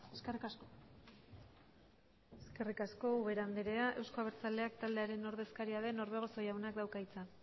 eskerrik asko eskerrik asko ubera andrea euzko abertzaleak taldearen ordezkaria den orbegozo jaunak dauka hitza